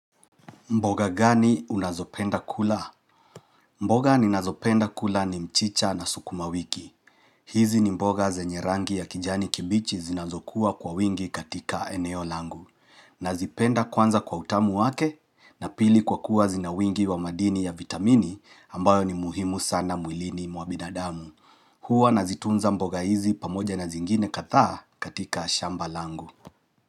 Mboga gani unazopenda kula? Mboga ninazopenda kula ni mchicha na sukuma wiki. Hizi ni mboga zenye rangi ya kijani kibichi zinazokuwa kwa wingi katika eneo langu. Nazipenda kwanza kwa utamu wake na pili kwa kuwa zina wingi wa madini ya vitamini ambayo ni muhimu sana mwilini mwa bidadamu. Huwa nazitunza mboga hizi pamoja na zingine kadhaa katika shamba langu.